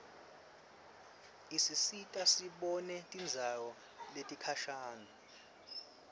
isisita sibone tindzawo letikhashane